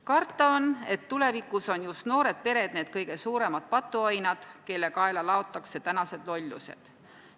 Karta on, et tulevikus on just noored pered need kõige suuremad patuoinad, kelle kaela laotakse tänased lollused.